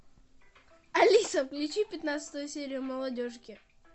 алиса включи пятнадцатую серию молодежки